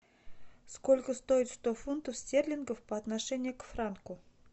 сколько стоит сто фунтов стерлингов по отношению к франку